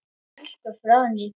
Elsku Fróðný.